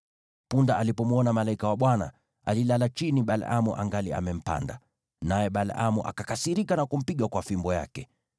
Punda alipomwona malaika wa Bwana , alilala chini Balaamu angali amempanda, naye Balaamu akakasirika na kumpiga kwa fimbo yake.